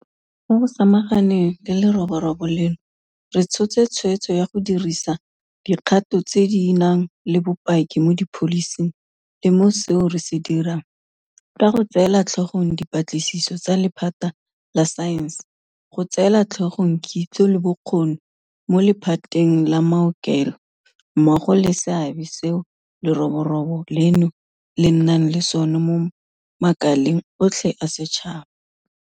Mo go samaganeng le leroborobo leno re tshotse tshweetso ya go dirisa dikgato tse di nang le bopaki mo dipholising le mo seo re se dirang, ka go tseela tlhogong dipatlisiso tsa lephata la saense, go tseela tlhogong kitso le bokgoni mo le phateng la maokelo mmogo le seabe seo leroborobo leno le nnang le sona mo makaleng otlhe a setšhaba.